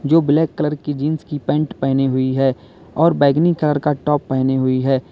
जो black colour jeans की pant पहनी हुई है और बैगनी कलर का टॉप पहनी हुई है।